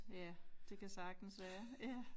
Ja det kan sagtens være ja